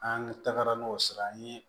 An tagara n'o sira an ye